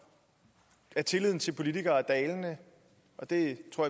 at tilliden til politikere er dalende og det tror